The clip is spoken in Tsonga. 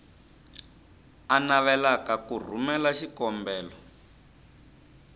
a navelaka ku rhumela xikombelo